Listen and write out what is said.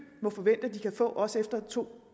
må forvente at de kan få også efter to